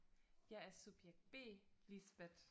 jeg er subjekt B Lisbeth